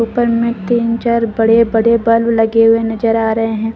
ऊपर में तीन चार बड़े बड़े बल्ब लगे हुए जा रहे हैं।